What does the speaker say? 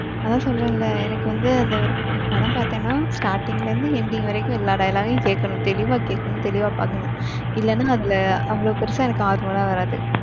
அதான் சொன்னேன்ல. எனக்கு வந்து அந்த ஒரு படம் பாத்தேன்னா starting ல இருந்து ending வரைக்கும் எல்லா dialogue கையும் கேக்கனும் தெளிவா கேக்கணும், தெளிவா பாக்கணும். இல்லனா அதுல அவளோ பெருசா எனக்கு ஆர்வம்லா வராது.